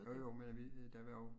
Jo jo men vi øh der var jo